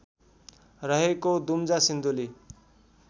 रहेको दुम्जा सिन्धुली